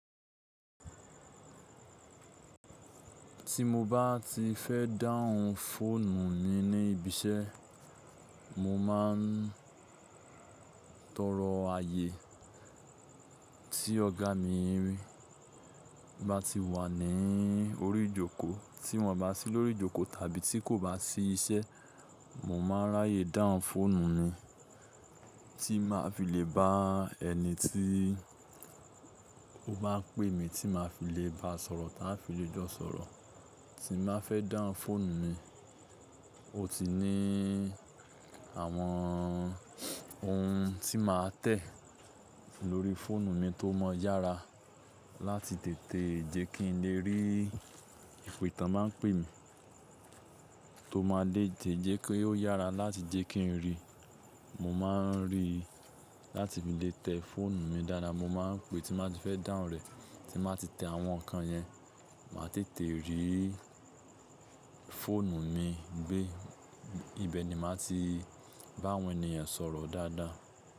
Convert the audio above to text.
Tí mo bá ti fẹ́ dáhùn fóònù mi ní ibi iṣẹ́, mo máa ń tọrọ ààyè tí ọ̀gá mi rí bá ti wà ní orí ìjókòó. Tí wọ́n bá sí lórí ìjókòó tàbí tí kò bá sí iṣẹ́, mo máa n ráyè dáhùn fóònù mi tí màá fi lè bá ẹni tí ó bá pè mí tí màá fi lè bá a sọ̀rọ̀, tí màá fi lè jọ̀ sọ̀rọ̀. Tí màá fẹ́ dáhùn fóònù mi, ó ti ní àwọn ohun tí màá tẹ̀ lórí fóònù mi tó mọ yára láti tètè jẹ́ kí n lè rí ìpe tán ba ń pè mí, tó máa lè jẹ́ kó yára láti jẹ́ kí n rí. Mo máa ń rí láti fi lè tẹ fóònù mi dáadáa, mo máa ń pè tí màá ti fẹ́ dáhùn rẹ̀, tí màá ti tẹ àwọn nǹkan yẹn, màá tètè rí fóònù mi gbé. Ibẹ̀ ni màá ti bá àwọn ènìyàn sọ̀rọ̀ dáadáa.